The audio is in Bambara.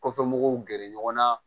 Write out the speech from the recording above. Kɔfɛ mɔgɔw gɛrɛ ɲɔgɔn na